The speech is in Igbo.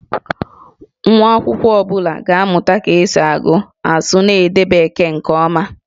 Nwa akwụkwọ ọ bụla ga-amụta ka esi agụ, asụ, na ide Bekee nke ọma